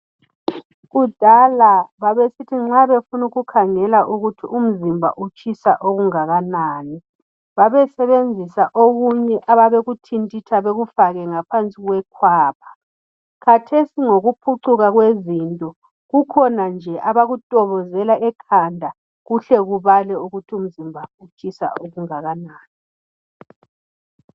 Kudala babesithi nxa befuna ukukhangela ukuthi umzimba utshisa okungakanani babesebenzisa okunye ababekuthintitha bekufake ngaphansi kwekhwapha khathesi ngokuphucuka kwezinto kukhona nje abakutobozela ekhanda kuhle kubale ukuthi umzimba utshisa okungakanani.